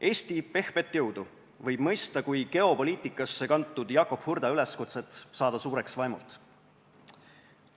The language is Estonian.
Eesti pehmet jõudu võib mõista kui geopoliitikasse üle kantud Jakob Hurda üleskutset saada suureks vaimult.